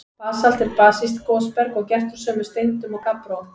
Basalt er basískt gosberg og gert úr sömu steindum og gabbró.